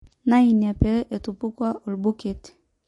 Naa ina pee etupukuo obuket.